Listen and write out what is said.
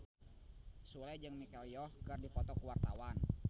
Sule jeung Michelle Yeoh keur dipoto ku wartawan